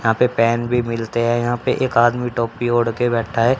यहां पेन भी मिलते हैं यहां पे एक आदमी टोपी ओढ़ के बैठा है।